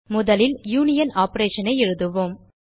முதலில் யூனியன் operationஐ எழுதுவோம்